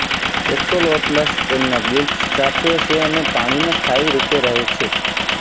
axolotls તેમના gills રાખે છે અને પાણીમાં સ્થાયી રૂપે રહે છે